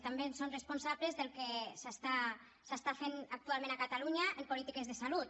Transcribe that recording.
també en són responsables del que s’està fent actualment a catalunya en polítiques de salut